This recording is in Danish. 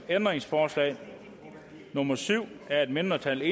ændringsforslag nummer syv af et mindretal